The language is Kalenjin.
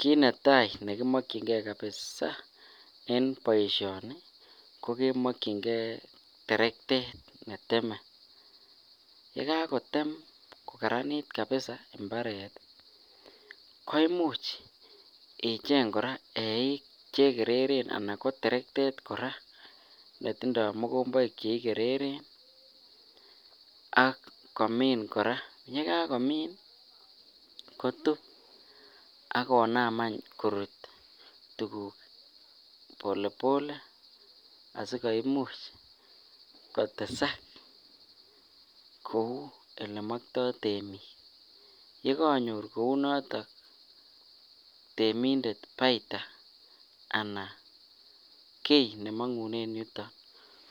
Kit netai ne kimokinkee kabisaa en boisioni ko kemokinkee terektet ne temei ye kakotem koraranit kabisaa imbaret koimuch ichek koraa eik chekereren ana ko terektet koraa netitondo mokoboik cheikereren ak komin koraa ago yekakomin kotun agonam any korut tuguk Pole pole asikoimuch kotesak kou olemaktoi temik yekonyor kounoton temindet bayta anan kii nemogunen yuton